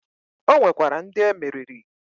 O nwekwara ndị emeriri.